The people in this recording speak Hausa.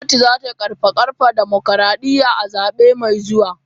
Gwamnati za ta karfafa dimokradiyya a zabe mai zuwa.